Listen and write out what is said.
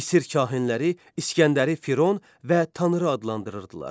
Misir kahinləri İsgəndəri Firon və Tanrı adlandırırdılar.